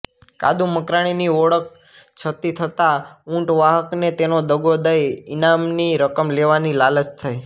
કાદુ મકરાણીની ઓળખ છતી થતાં ઊંટ વાહકને તેને દગો દઈ ઈનામની રકમ લેવાની લાલચ થઈ